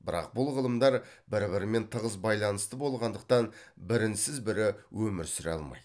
бірақ бұл ғылымдар бір бірімен тығыз байланысты болғандықтан бірінсіз бірі өмір сүре алмайды